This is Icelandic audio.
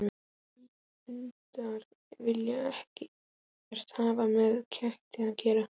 Hundar vilja ekkert hafa með ketti að gera.